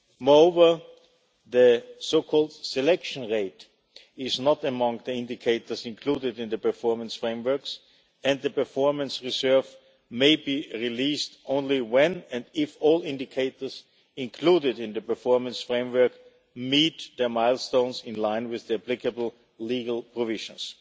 Moreover, the so-called selection rate is not among the indicators included in the performance frameworks and the performance reserve may be released only when and if all indicators included in the performance framework meet the milestones in line with the applicable legal provisions.